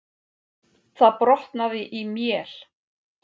Það brotnaði í mél.